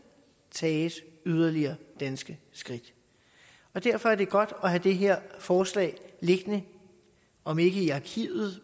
tages yderligere danske skridt og derfor er det godt at have det her forslag liggende om ikke i arkivet